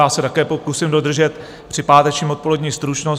Já se také pokusím dodržet při pátečním odpoledni stručnost.